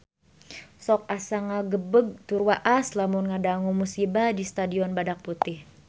Sok asa ngagebeg tur waas lamun ngadangu musibah di Stadion Badak Putih